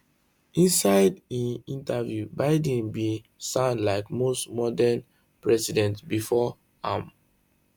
inside im interview biden bin sound like most modern american presidents bifor am